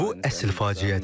Bu əsl faciədir.